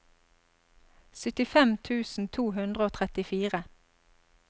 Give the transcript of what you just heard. syttifem tusen to hundre og trettifire